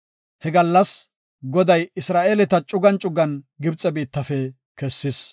He gallas Goday Isra7eeleta cugan cugan Gibxe biittafe kessis.